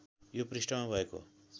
यो पृष्ठमा भएको